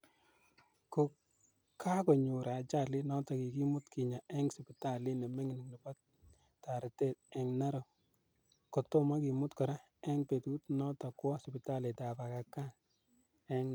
Ko kakonyor ajalit notokkikimut kinyaa ing siptalit ne mining chebo taretet ing Narok ko tomo kimut kora ing petut notok kowa siptalit ap Aga Khan ing Nairobi.